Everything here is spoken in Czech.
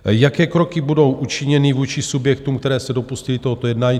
Jaké kroky budou učiněny vůči subjektům, které se dopustily tohoto jednání?